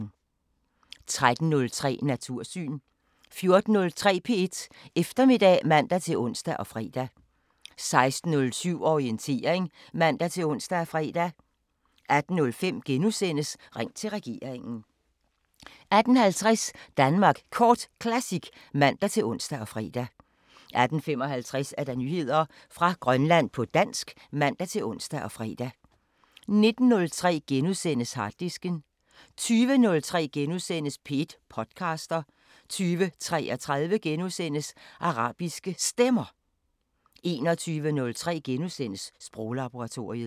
13:03: Natursyn 14:03: P1 Eftermiddag (man-ons og fre) 16:07: Orientering (man-ons og fre) 18:05: Ring til regeringen * 18:50: Danmark Kort Classic (man-ons og fre) 18:55: Nyheder fra Grønland på dansk (man-ons og fre) 19:03: Harddisken * 20:03: P1 podcaster * 20:33: Arabiske Stemmer * 21:03: Sproglaboratoriet *